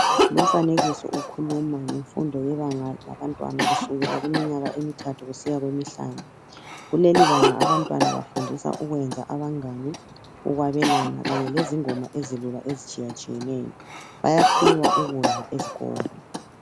Lumfanekiso ukhuluma ngemfundo yebanga labantwana kusukela iminyaka emithathu kusiya kwemihlanu. Kuleli banga abantwana bafundiswa ukukwenza abangane, ukwabelana kanye lezingoma ezilula ezitshiyatshiyeneyo, bayaphiwa ukudla esikolo.